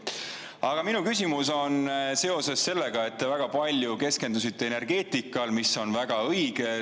Aga minu küsimus on selle kohta, et te keskendusite väga palju energeetikale – ja see on väga õige.